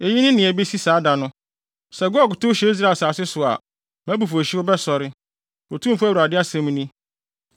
Eyi ne nea ebesi saa da no. Sɛ Gog tow hyɛ Israel asase so a, mʼabufuwhyew bɛsɔre, Otumfo Awurade asɛm ni.